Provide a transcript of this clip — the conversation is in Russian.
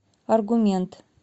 аргумент